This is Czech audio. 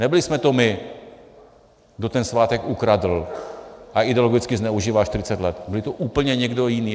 Nebyli jsme to my, kdo ten svátek ukradl a ideologicky zneužíval 40 let, byl to úplně někdo jiný.